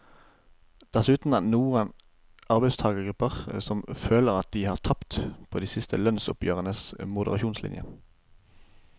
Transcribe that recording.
Dessuten er det noen arbeidstagergrupper som føler at de har tapt på de siste lønnsoppgjørenes moderasjonslinje.